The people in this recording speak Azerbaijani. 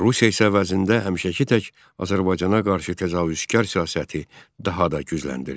Rusiya isə əvəzində həmişəki tək Azərbaycana qarşı təcavüzkar siyasəti daha da gücləndirdi.